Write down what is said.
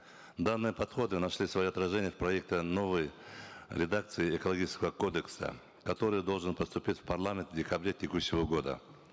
данные подходы нашли свое отражение в проекте новой редакции экологического кодекса который должен поступить в парламент в декабре текущего года